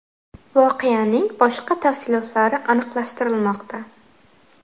Voqeaning boshqa tafsilotlari aniqlashtirilmoqda.